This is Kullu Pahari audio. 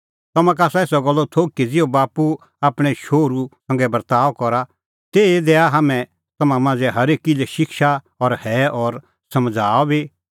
तम्हां का आसा एसा गल्लो थोघ ज़िहअ बाप्पू आपणैं शोहरू संघै बर्ताअ करा तेही ई दैआ हाम्हैं तम्हां मांझ़ै हरेकी लै शिक्षा और हैअ और समझ़ाऊआ बी तै